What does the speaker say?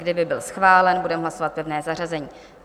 Kdyby byl schválen, budeme hlasovat pevné zařazení.